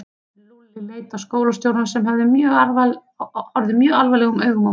Lúlli leit á skólastjórann sem horfði mjög alvarlegum augum á móti.